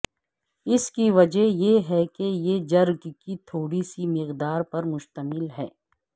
اس کی وجہ یہ ہے کہ یہ جرگ کی تھوڑی سی مقدار پر مشتمل ہے